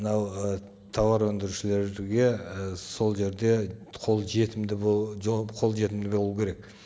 мынау ы тауар өндірушілерге ы сол жерде қолжетімді қолжетімді болу керек